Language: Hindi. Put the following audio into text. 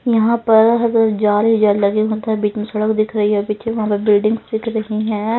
यहाँ पर हर तरफ़ जाल जो लगे उस तरफ बीच में सड़क दिख रही है पिच्छे वहाँ पे बिल्डिंग्स दिख रही है।